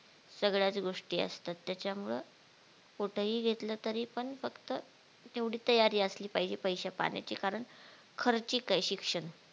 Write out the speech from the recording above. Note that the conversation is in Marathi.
सगळ्याच गोष्टी असतात त्याच्या मुळे कुठेही घेतलं तरी पण फक्त तेवढी तयारी असली पाहिजे पैश्या पाण्याची कारण खर्चीक ये शिक्षण